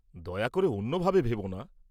দয়া করে অন্যভাবে ভেবো না।